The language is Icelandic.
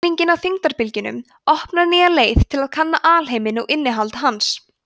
mælingin á þyngdarbylgjunum opnar nýja leið til að kanna alheiminn og innihald hans